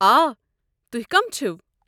آ، تُہۍ کم چھِوٕ؟